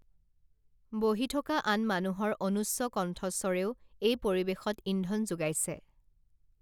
বহি থকা আন মানুহৰ অনুচ্চ কন্ঠস্বৰেও এই পৰিৱেশত ইন্ধন যোগাইছে